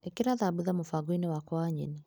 ĩkĩra thambutha mũbango-inĩ wakwa wa nyeni.